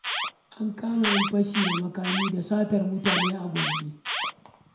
An kama 'yan fashi da makami da satar mutane a Gombe.